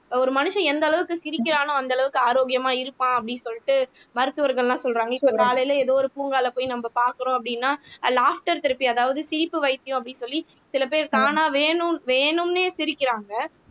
ஒரு மனுஷன் எந்த அளவுக்கு சிரிக்கிறானோ அந்த அளவுக்கு ஆரோக்கியமா இருப்பான் அப்படின்னு சொல்லிட்டு மருத்துவர்கள் எல்லாம் சொல்றாங்க இப்ப காலையில ஏதோ ஒரு பூங்காவுல போய் நம்ம பார்க்கிறோம் அப்படின்னா ஆஹ் லாப்டர் தெரப்பி அதாவது சிரிப்பு வைத்தியம் அப்படின்னு சொல்லி சில பேர் தானா வேணும்ன்னு வேணும்னே சிரிக்கிறாங்க